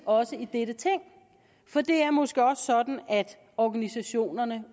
også i dette ting for det er måske også sådan organisationerne